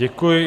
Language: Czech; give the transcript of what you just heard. Děkuji.